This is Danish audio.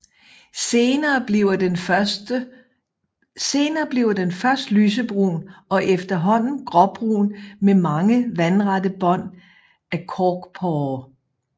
Senere bliver den først lysebrun og efterhånden gråbrun med mange vandrette bånd af korkporer